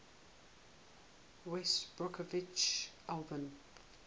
west bromwich albion